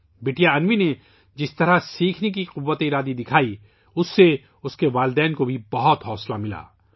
بٹیا انوی نے ، جس طرح سیکھنے کی اپنی قوت ارادی کا مظاہرہ کیا ، اس سے اس کے والدین کو بھی بہت حوصلہ ملا